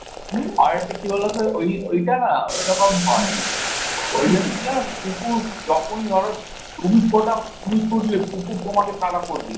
আর একটা কী বলতো ওই ঐটা না ওইরকম হয় ওই জন্য কি জানো তো কুকুর যখনই ধরো তুমি কোথাও তুমি ছুটলে কুকুর তোমাকে তারা করবেই।